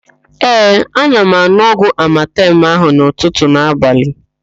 Ee, ana m an̄ụ ọgwụ amatem ahụ n'ụtụtụ na abalị.